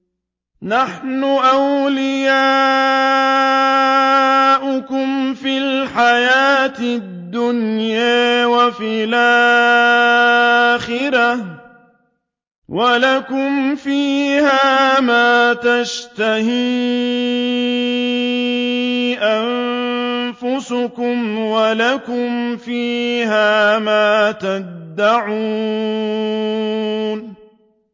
نَحْنُ أَوْلِيَاؤُكُمْ فِي الْحَيَاةِ الدُّنْيَا وَفِي الْآخِرَةِ ۖ وَلَكُمْ فِيهَا مَا تَشْتَهِي أَنفُسُكُمْ وَلَكُمْ فِيهَا مَا تَدَّعُونَ